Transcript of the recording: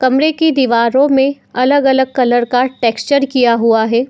कमरे की दीवारों में अलग-अलग कलर का टेक्सचर किया हुआ है।